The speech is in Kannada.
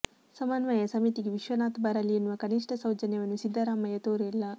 ಸಮನ್ವಯ ಸಮಿತಿಗೆ ವಿಶ್ವನಾಥ್ ಬರಲಿ ಎನ್ನುವ ಕನಿಷ್ಠ ಸೌಜನ್ಯವನ್ನು ಸಿದ್ದರಾಮಯ್ಯ ತೋರಿಲ್ಲ